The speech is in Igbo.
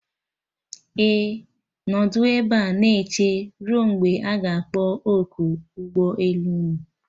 Ee, nọdụ ebe a na eche ruo mgbe a ga-akpọ oku ụgbọ elu unu